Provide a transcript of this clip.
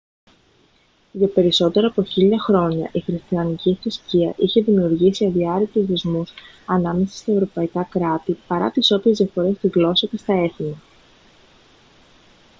για περισσότερα από χίλια χρόνια η χριστιανική θρησκεία έχει δημιουργήσει αδιάρρηκτους δεσμούς ανάμεσα στα ευρωπαϊκά κράτη παρά τις όποιες διαφορές στη γλώσσα και τα έθιμα